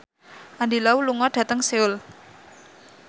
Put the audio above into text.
Andy Lau lunga dhateng Seoul